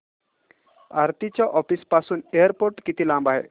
आरती च्या ऑफिस पासून एअरपोर्ट किती लांब आहे